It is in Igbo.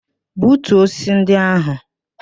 Butuo osisi ndị ahụ!